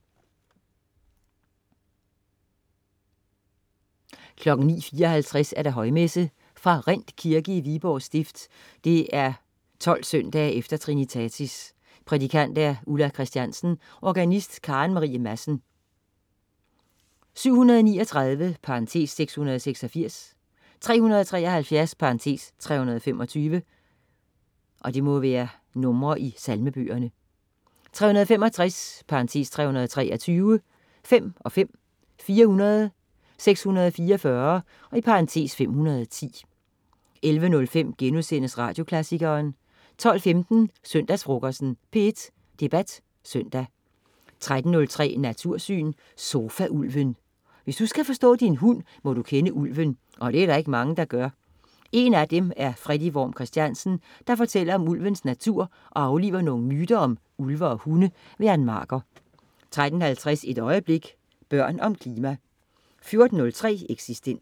09.54 Højmesse. ra Rind kirke (Viborg stift). 12 søndag efter trinitatis. Prædikant: Ulla Kristiansen. Organist: Karen Marie Madsen. 739 (686). 373 (325). 365 (323). 5 (5). 400. 644 (510) 11.05 Radioklassikeren* 12.15 Søndagsfrokosten. P1 Debat Søndag 13.03 Natursyn. Sofa-ulven. Hvis du skal forstå din hund, må du kende ulven. Det er der ikke mange der gør. En af dem er Freddy Worm Christiansen, der fortæller om ulvens natur og afliver nogle myter om ulve og hunde. Ann Marker 13.50 Et øjeblik. Børn om klima 14.03 Eksistens